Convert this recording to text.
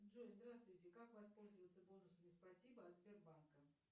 джой здравствуйте как воспользоваться бонусами спасибо от сбербанка